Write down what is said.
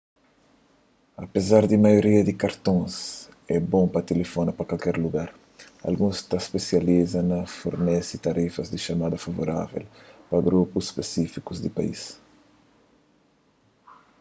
apezar di maioria di kartons é bon pa tilifona pa kualker lugar alguns ta spesializa na fornese tarifas di txamada favorável pa grupus spisífikus di país